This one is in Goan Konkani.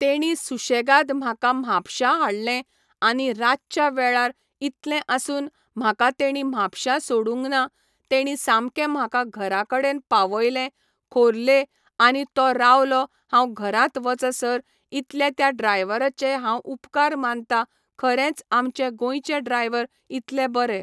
तेणी सुशेगाद म्हाका म्हापश्यां हाडलें आनी रातच्या वेळार इतलें आसुन म्हाका तेंणी म्हापश्यां सोडूंक ना तेणी सामकें म्हाका घरा कडेन पावयले खोर्ले आनी तो रावलो हांव घरांत वचसर इतले त्या ड्रायवराचे हांव उपकार मानता खरेंच आमचे गोंयचे ड्रायवर इतले बरे